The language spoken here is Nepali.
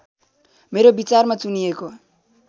मेरो विचारमा चुनिएको